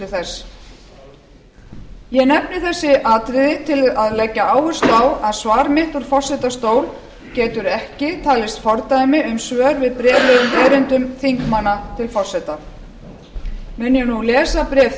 nefni þessi atriði til að leggja áherslu á að svar mitt úr forsetastól getur ekki talist fordæmi um svör við bréflegum erindum þingmanna til forseta mun ég nú lesa bréf